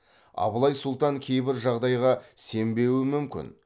абылай сұлтан кейбір жағдайға сенбеуі мүмкін